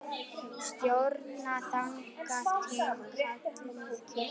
Stjórna þangað til kallið kemur.